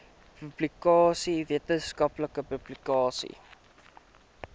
publikasies wetenskaplike publikasies